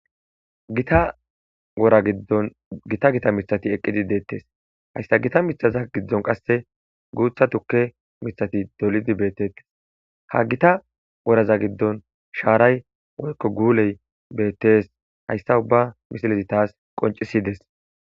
gita wora giddon gita gita mittati eqqidi deettes haystta gita mitaza giddon qasse guutha tukke mittati dolidi beettettes ha gita woraza giddon shaaray woykko guuley beettes hayssa ubba misilezi taas qoncissides.